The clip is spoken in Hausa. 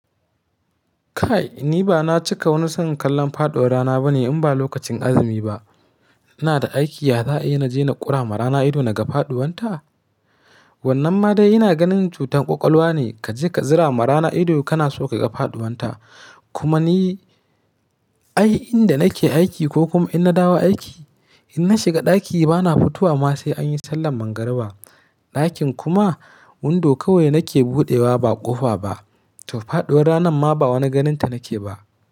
Kai, ni ba na cika wani son kallon faɗuwar rana bane in ba lokacin azumi ba. Ina da aiki, za a iya na je na ƙura marana ido na ga faɗuwanta? Wannan ma dai ina ganin cutar ƙwaƙwalwa ne kaje ka zira marana ido kana so ka ga faɗuwanta. Kuma ni, ai inda nake aiki ko kuma in na dawo aiki, in na shiga ɗaki bana fitowa ma sai an yi sallan magariba. Ɗakin kuma windo kawai nake buɗewa ba ƙofa ba, to faɗuwar rana ma ba wani ganinta nake ba.